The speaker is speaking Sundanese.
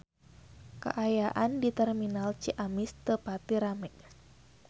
Kaayaan di Terminal Ciamis teu pati rame